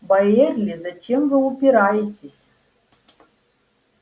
байерли зачем вы упираетесь